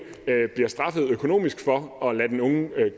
bliver straffet økonomisk for at lade den unge